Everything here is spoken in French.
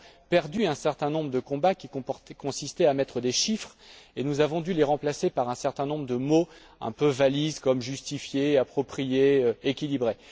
Nous avons perdu un certain nombre de combats qui consistaient à mettre des chiffres et nous avons dû les remplacer par un certain nombre de mots, un peu valises, comme justifié, approprié, équilibré.